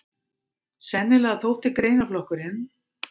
Sennilega þótti greinaflokkurinn